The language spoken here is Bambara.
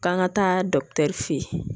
K'an ka taa fɛ yen